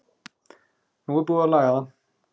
Nú er búið að laga það.